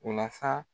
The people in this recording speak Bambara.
O la sa